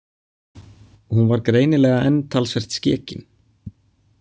Hún var greinilega enn talsvert skekin.